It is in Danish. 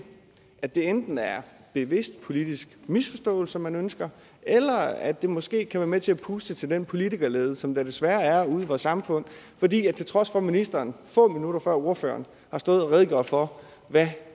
at det enten er bevidst politisk misforståelse man ønsker eller at det måske kan være med til at puste til den politikerlede som der desværre er ude i vores samfund til trods for at ministeren få minutter før ordføreren har stået og redegjort for hvad